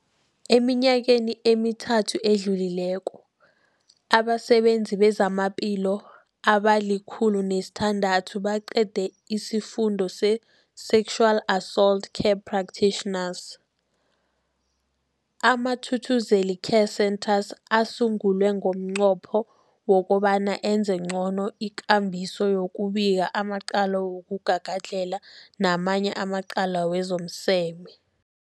Eminyakeni emithathu edluleko, abasebenzi bezamaphilo abali-106 baqede isiFundo se-Sexual Assault Care Practitioners. AmaThuthuzela Care Centres asungulwa ngomnqopho wokobana enze ngcono ikambiso yokubika amacala wokugagadlhela namanye amacala wezomseme.